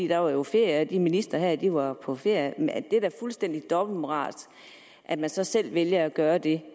der var jo ferie og ministrene var på ferie det er da fuldstændig dobbeltmoralsk at man så selv vælger at gøre det